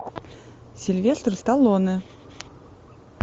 сильвестр сталлоне